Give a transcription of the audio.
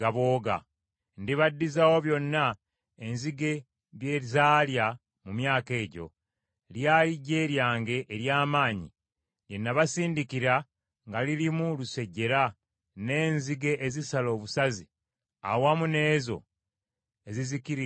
“Ndibaddizaawo byonna enzige bye zaalya mu myaka egyo. Lyali ggye lyange ery’amaanyi lye nabasindikira nga lirimu lusejjera, n’enzige ezisala obusazi, awamu n’ezo ezizikiririza ddala.